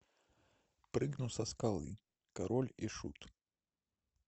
прыгну со скалы король и шут